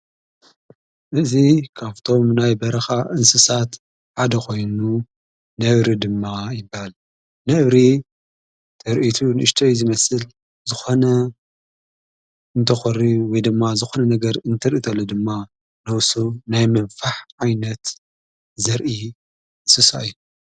እዝ ካፍቶም ናይ በርኻ እንስሳት ሓደ ኾይኑ ነብሪ ድማ ይበሃል ነብሪ ተርኢቱ ንእሽተይ ዝመስል ዝኾነ እንተኾሪ ወይ ድማ ዝኾነ ነገር እንትርኢተሉ ድማ ነውሱ ናይ መንፋሕ ዓይነት ዘርኢ እንስሳ እዩ::